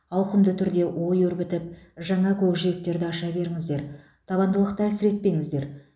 ауқымды түрде ой өрбітіп жаңа көкжиектерді аша беріңіздер табандылықты әлсіретпеңіздер